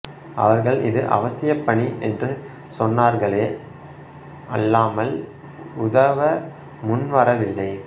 அவர்கள் இது அவசியப்பணி என்று சொன்னார்களே அல்லாமல் உதவ முன்வரவில்லை